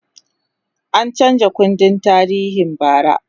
an chanza kundin tarihin bara